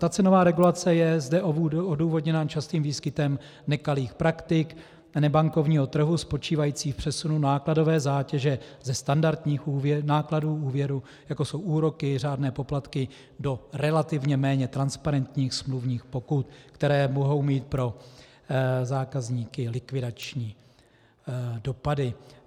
Ta cenová regulace je zde odůvodněna častým výskytem nekalých praktik nebankovního trhu spočívajících v přesunu nákladové zátěže ze standardních nákladů úvěru, jako jsou úroky, řádné poplatky, do relativně méně transparentních smluvních pokut, které mohou mít pro zákazníky likvidační dopady.